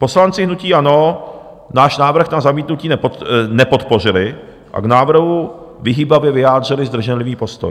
Poslanci hnutí ANO náš návrh na zamítnutí nepodpořili a k návrhu vyhýbavě vyjádřili zdrženlivý postoj.